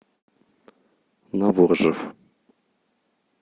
новоржев